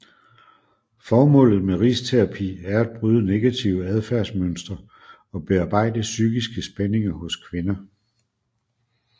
Formålet med risterapi er at bryde negative adfærdsmønstre og bearbejde psykiske spændinger hos kvinder